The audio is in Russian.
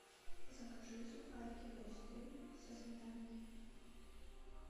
закажи сухарики хрустим со сметаной